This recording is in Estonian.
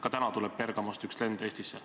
Ka täna tuleb Bergamost üks lend Eestisse.